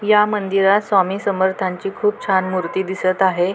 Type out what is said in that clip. या मंदिरात स्वामी समर्थांची खूप छान मूर्ती दिसत आहे.